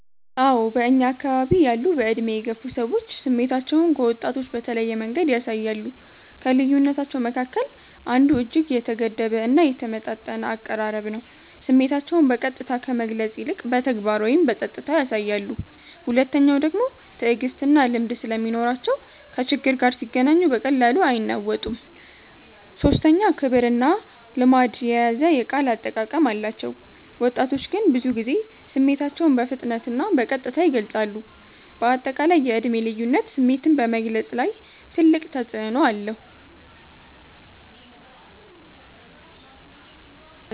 አዎ በእኛ አከባቢ ያሉ በዕድሜ የገፉ ሰዎች ስሜታቸውን ከወጣቶች በተለየ መንገድ ያሳያሉ። ከልዩነታቸዉ መካከል አንዱ እጅግ የተገደበ እና የተመጣጠነ አቀራረብ ነው፤ ስሜታቸውን በቀጥታ ከመግለጽ ይልቅ በተግባር ወይም በጸጥታ ያሳያሉ። ሁለተኛዉ ደግሞ ትዕግስትና ልምድ ስለሚኖራቸው ከችግር ጋር ሲገናኙ በቀላሉ አይናወጡም። ሶስተኛ ክብርና ልማድ የያዘ የቃል አጠቃቀም አላቸው፤ ወጣቶች ግን ብዙ ጊዜ ስሜታቸውን በፍጥነትና በቀጥታ ይገልጻሉ። አጠቃላይ የዕድሜ ልዩነት ስሜትን በመግለፅ ላይ ግልጽ ተፅዕኖ አለው።